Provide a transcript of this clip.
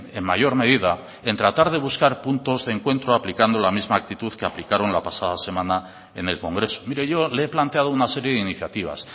en mayor medida en tratar de buscar puntos de encuentro aplicando la misma actitud que aplicaron la pasada semana en el congreso mire yo le he planteado una serie de iniciativas